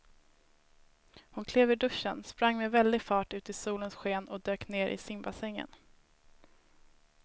Hon klev ur duschen, sprang med väldig fart ut i solens sken och dök ner i simbassängen.